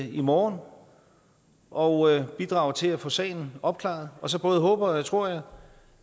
i morgen og bidrager til at få sagen opklaret og så både håber og tror jeg